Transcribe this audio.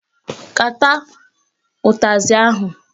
Kata utazị ahụ!